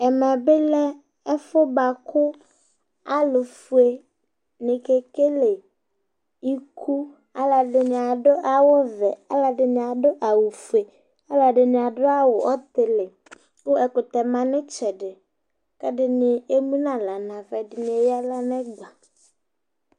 ɛmɛ bi lɛ ɛfu boa kò alo fue ni ke kele iku aloɛdini ado awu vɛ aloɛdini ado awu fue aloɛdini ado awu ɔtili kò ɛkutɛ ma n'itsɛdi k'ɛdini emu n'ala n'ava ɛdini eya ala n'ɛgba